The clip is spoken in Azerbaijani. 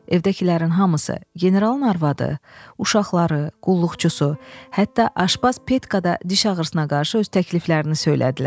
Evdəkilərin hamısı, generalın arvadı, uşaqları, qulluqçusu, hətta aşpaz Petka da diş ağrısına qarşı öz təkliflərini söylədilər.